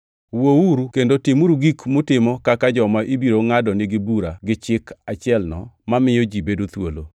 Wuouru kendo timuru gik mutimo kaka joma ibiro ngʼadnigi bura gi Chik achielno mamiyo ji bedo thuolo,